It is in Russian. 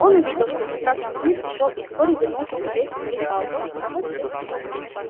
он увидел что красавчик смит ушёл и вскоре вернулся с увесистой палкой